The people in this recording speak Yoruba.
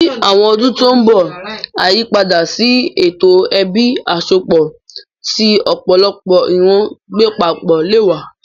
Ní àwọn ọdún tó ń bọ̀, àyípadà sí ètò ẹbí àsọpọ̀ tí ọ̀pọ̀lọpọ̀ ìran ń gbé papọ̀ lè wà.